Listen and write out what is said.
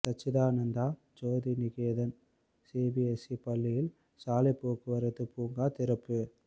சச்சிதானந்த Jothi Niketan CBSE பள்ளியில் சாலை போக்குவரத்து பூங்கா திறப்பு